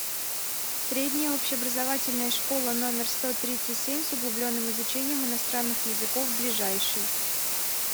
средняя общеобразовательная школа номер сто тридцать семь с углубленным изучением иностранных языков ближайший